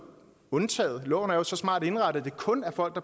undtaget loven er jo så smart indrettet at det kun er folk